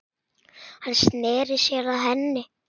Hann sneri sér að henni.